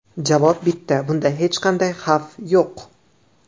Javob bitta – bunda hech qanday xavf yo‘q.